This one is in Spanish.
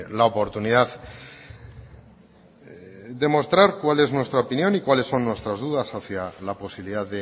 la oportunidad de mostrar cuál es nuestra opinión y cuáles son nuestras dudas hacia la posibilidad